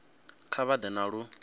kha vha ḓe na lu